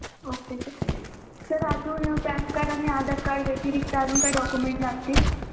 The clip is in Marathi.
Okay सर अजून pan card आणि आधार card व्यतिरीक्त अजून काही document लागतील